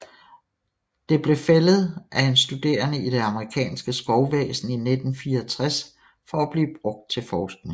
Det blev fældet af en studerende i det amerikanske skovvæsen i 1964 for at blive brugt til forskning